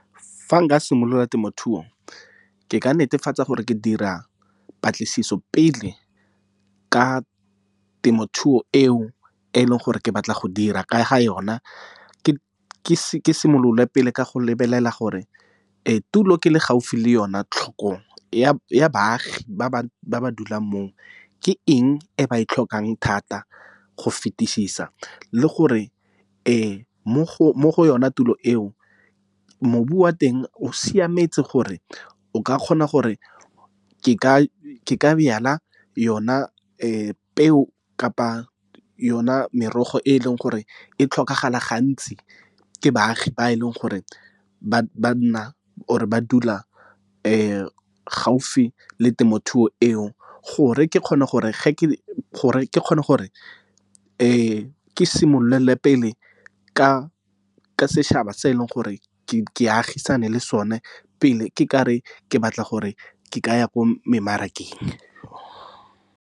Fa nka simolola temothuo ke ka netefatsa gore ke dira patlisiso pele ka temothuo eo e leng gore ke batla go dira ka ga yona, ke simolole pele ka go lebelela gore tulo ke le gaufi le yone tlhokong ya baagi ba ba dulang moo ke eng e ba e tlhokang thata go fetisisa. Le gore mo go yona tulo eo mobu wa teng o siametse gore o ka kgona gore ke ka byala yona peo kapa yona merogo, e e leng gore e tlhokagala gantsi ke baagi ba e leng gore ba a nna or ba dula gaufi le temothuo eo. Gore ke kgone gore ke simolele pele ka ka setšhaba se e leng gore ke agisane le sone pele ke ka re ke batla gore ke ka ya ko me mmarakeng.